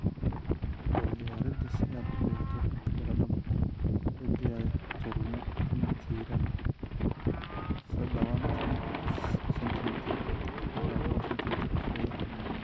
"Dhul Diyaarinta Si aad u beerto baradho macaan, u diyaari tuulmo ama tiirar sadhawatan sentimitar ilaa boqol sentimitar dhexdooda ah.